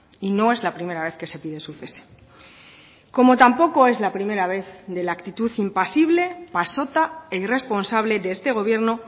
y no es la primera vez que se pide su cese como tampoco es la primera vez de la actitud impasible pasota e irresponsable de este gobierno